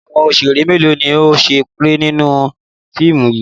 Àwọn òṣèrè mélòó ni ó ń ṣeré nínú fíìmù yìí?